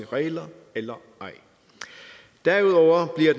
regler eller ej derudover bliver